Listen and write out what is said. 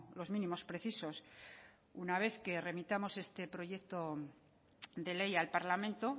los mínimos precisos una vez que remitamos este proyecto de ley al parlamento